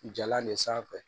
Jalan de sanfɛ